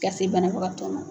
Ka se banabagatɔ ma.